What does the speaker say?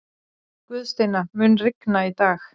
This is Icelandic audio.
Guðsteina, mun rigna í dag?